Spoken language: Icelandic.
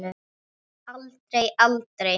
Aldrei, aldrei.